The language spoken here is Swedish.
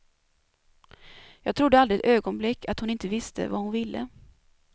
Jag trodde aldrig ett ögonblick att hon inte visste vad hon ville.